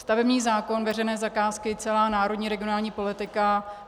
Stavební zákon, veřejné zakázky, celá národní regionální politika.